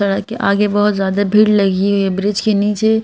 हालांकि आगे बहुत ज्यादा भीड़ लगी हुई है ब्रिज के नीचे।